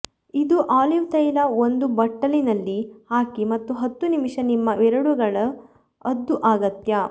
ಇದು ಆಲಿವ್ ತೈಲ ಒಂದು ಬಟ್ಟಲಿನಲ್ಲಿ ಹಾಕಿ ಮತ್ತು ಹತ್ತು ನಿಮಿಷ ನಿಮ್ಮ ಬೆರಳುಗಳ ಅದ್ದು ಅಗತ್ಯ